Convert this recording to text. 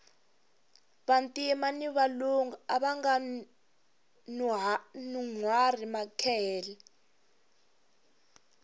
vantima ni valungu avanga nuhwari makehele